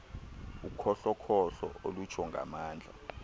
ukhohlokhohlo olutsho ngamandla